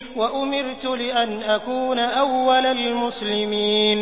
وَأُمِرْتُ لِأَنْ أَكُونَ أَوَّلَ الْمُسْلِمِينَ